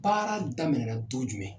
Baara daminɛ na don jumɛn.